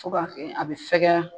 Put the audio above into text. Fo ka kɛ a bɛ fɛgɛya